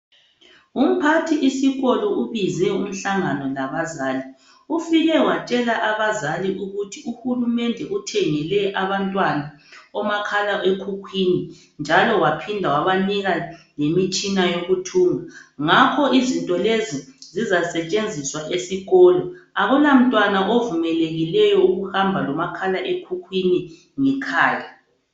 Umphathisikolo ubize umhlangano labazali ufike watshela abazali ukuthi uhulumende uthengele abantwana omakhala ekhukhwini njalo waphinda wabanika lemitshina yokuthunga ngakho izinto lezi zizasetshenziswa esikolo akula mntwana ovumelekileyo ukuhamba lomakhala ekhukhwini ngekhaya.